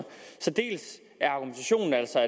argumentationen er altså